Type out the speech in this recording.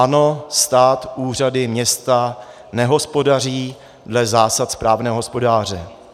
Ano, stát, úřady, města nehospodaří dle zásad správného hospodáře.